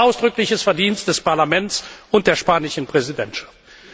Das ist ein ausdrückliches Verdienst des Parlaments und der spanischen Präsidentschaft.